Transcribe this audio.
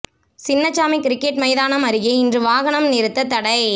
Chinnasamy cricket மைதானம் அருகே இன்று வாகனம் நிறுத்தத் தடை